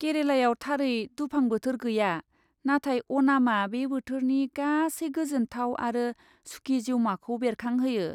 केरालायाव थारै दुफां बोथोर गैया, नाथाय अनामआ बे बोथोरनि गासै गोजोनथाव आरो सुखि जिउमाखौ बेरखांहोयो।